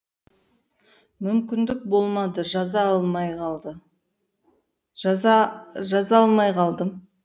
мүмкіндік болмады жаза алмай қалдым